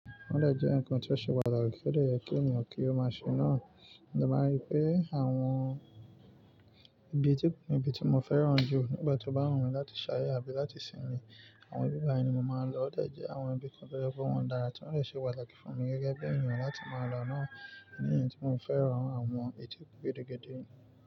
Ó dé jẹ́ ǹnkan tí ó ṣe pàtàkì tí ó dé yẹ kí ènìyàn kí ó máa ṣe náà. Mo dé máa rí pé àwọn ibi tí--ibi tí mo fẹ́ràn jù nígbà tí ó bá wù mí láti ṣàyè tàbí láti sinmi. Àwọn ibi báyìí ni mo máa ń lọ, ó dé jẹ́ àwọn ibi kan tó jẹ́ pé wọn dára tí wọ́n rẹ̀ ṣe wà láti fún mi gẹ́gẹ́ bí ènìyàn láti máa lọ náà ní èyí tí mo fẹ́ràn àwọn etí òkè gídí gídí.